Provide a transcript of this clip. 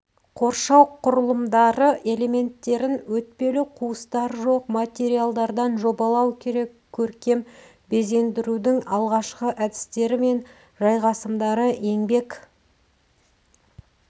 қоршау құрылымдары элементтерін өтпелі қуыстары жоқ материалдардан жобалау керек көркем безендірудің алғашқы әдістері мен жайғасымдары еңбек